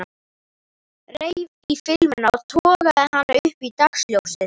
Reif í filmuna og togaði hana upp í dagsljósið.